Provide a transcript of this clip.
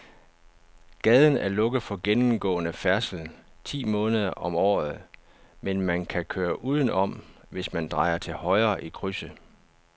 Gaden er lukket for gennemgående færdsel ti måneder om året, men man kan køre udenom, hvis man drejer til højre i krydset.